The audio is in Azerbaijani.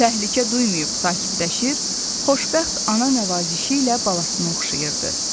Təhlükə duymayıb sakitləşir, xoşbəxt ana nəvazişi ilə balasını oxşayırdı.